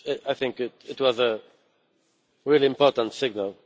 I think this was a really important signal.